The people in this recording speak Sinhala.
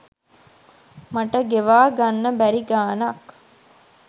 මට ගෙවා ගන්න බැරි ගාණක්.